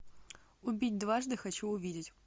убить дважды хочу увидеть